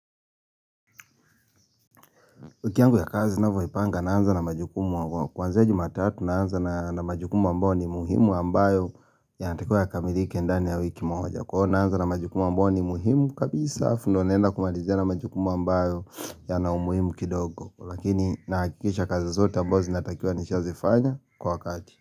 Wiki yangu ya kazi ninavyojipanga naanza na majukumu wa kuanzia jumatatu naanza na majukumu ambao ni muhimu ambayo yanatakiwa yakamilike ndani ya wiki moja kwa hiyo naanza na majukumu ambao ni muhimu kabisa alafu ndio naenda kwa malizia yale majukumu ambayo yana umuimu kidogo lakini nahakikisha kazi zote ambao zinatakiwa nishazifanya kwa wakati.